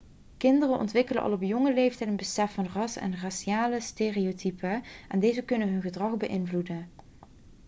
kinderen ontwikkelen al op jonge leeftijd een besef van ras en raciale stereotypen en deze kunnen hun gedrag beïnvloeden